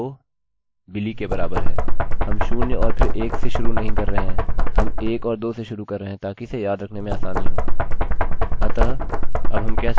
हम शून्य में और फिर एक से शुरू नहीं कर रहे हैं हम एक और दो से शुरू कर रहे हैं ताकि इसे याद रखने में आसानी हो